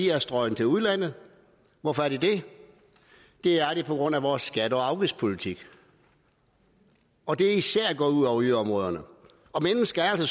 er strøget til udlandet hvorfor er de det det er de på grund af vores skatte og afgiftspolitik og det er især gået ud over yderområderne og mennesker er